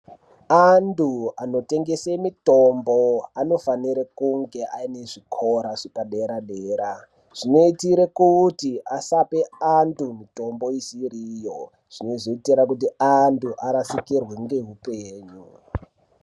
Antu anotengese mitombo anofanire kunge aine zvikora zvepadera-dera. Zvinoitire kuti asape antu mitombo isiri iyo. Zvinozoitira kuti antu arasikirwe ngeupenyu.